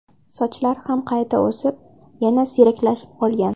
Sochlari ham qayta o‘sib, yana siyraklashib qolgan.